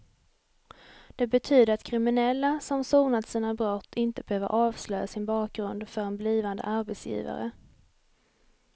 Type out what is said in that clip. Det betyder att kriminella som sonat sina brott inte behöver avslöja sin bakgrund för en blivande arbetsgivare.